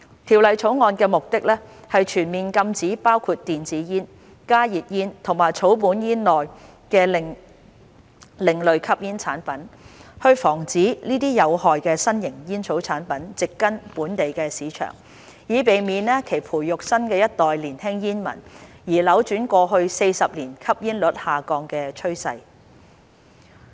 《條例草案》的目的，是全面禁止包括電子煙、加熱煙和草本煙在內的另類吸煙產品，防止這些有害的新型煙草產品植根本地市場，以免其培育新一代年輕煙民，而扭轉過去40年吸煙率下降的趨勢。